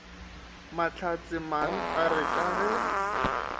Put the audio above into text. mahlatsemang a re ka ge